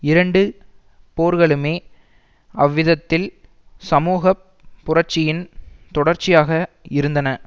இரண்டு போர்களுமே அவ்விதத்தில் சமூக புரட்சியின் தொடர்ச்சியாக இருந்தன